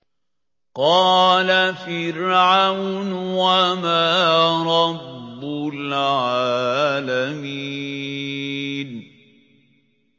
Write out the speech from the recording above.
قَالَ فِرْعَوْنُ وَمَا رَبُّ الْعَالَمِينَ